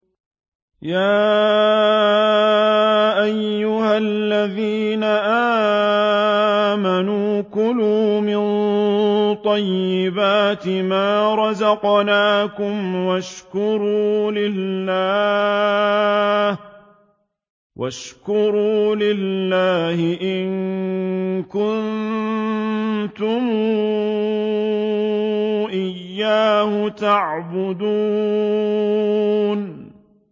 يَا أَيُّهَا الَّذِينَ آمَنُوا كُلُوا مِن طَيِّبَاتِ مَا رَزَقْنَاكُمْ وَاشْكُرُوا لِلَّهِ إِن كُنتُمْ إِيَّاهُ تَعْبُدُونَ